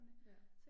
Ja